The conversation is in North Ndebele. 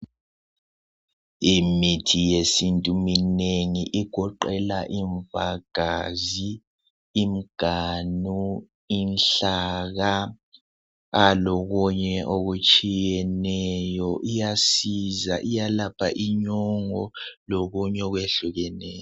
Imithi yesintu minengi igoqela imvagazi, imiganu, inhlaka lokunye okutshiyeneyo. Iyasiza iyalapha inyongo lokunye okwehlukeneyo.